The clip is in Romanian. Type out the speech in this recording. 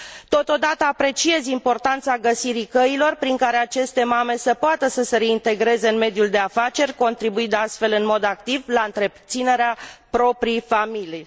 Totodată, apreciez importanța găsirii căilor prin care aceste mame să poată să se reintegreze în mediul de afaceri, contribuind astfel în mod activ la întreținerea propriei familii.